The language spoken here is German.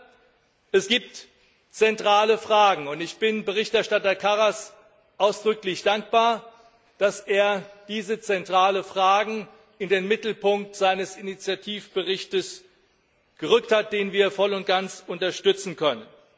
Aber es gibt zentrale Fragen, und ich bin Berichterstatter Karas ausdrücklich dankbar, dass er diese zentralen Fragen in den Mittelpunkt seines Initiativberichts gerückt hat, den wir voll und ganz unterstützen können.